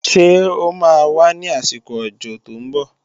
Ṣó máa wá ní àsìkò òjò tó ń bọ̀?